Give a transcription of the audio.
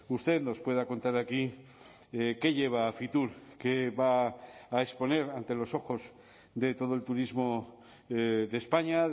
usted nos pueda contar aquí qué lleva a fitur qué va a exponer ante los ojos de todo el turismo de españa